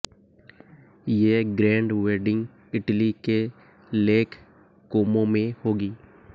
ये grand wedding Italy के lake Como में होगी